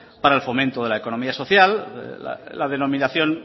para el fomento de la economía social la denominación